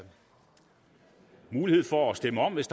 mulighed for at stemme om hvis